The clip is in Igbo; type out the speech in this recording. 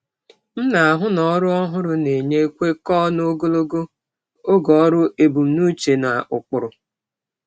M na-ahụ na ọrụ ọhụrụ na-enye kwekọọ na ogologo oge ọrụ ebumnuche na ụkpụrụ.